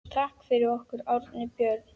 Takk fyrir okkur, Árni Björn!